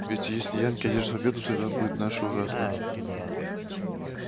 ведь если янки одержат победу судьба наша будет ужасна